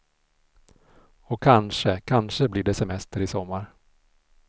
Och kanske, kanske blir det semester i sommar.